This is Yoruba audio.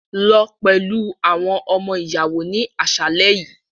Lọ pẹlu awọn ọmọ-iyawo ni aṣalẹ yii!